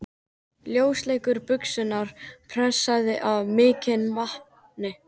Ljósleitar buxur pressaðar af mikilli natni.